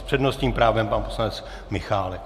S přednostním právem pan poslanec Michálek.